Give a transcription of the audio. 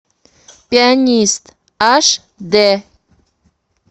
пианист аш дэ